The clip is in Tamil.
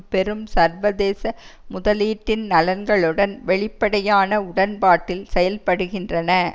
பெரும் சர்வதேச முதலீட்டின் நலன்களுடன் வெளிப்படையான உடன்பாட்டில் செயல்படுகின்றன